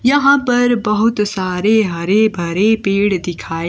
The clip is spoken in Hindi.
यहां पर बहुत सारे हरे भरे पेड़ दिखाई--